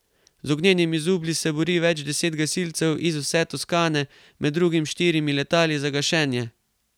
Z ognjenimi zublji se bori več deset gasilcev iz vse Toskane, med drugim s štirimi letali za gašenje.